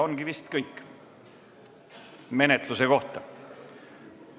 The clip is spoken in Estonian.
Ongi vist kõik menetluse kohta.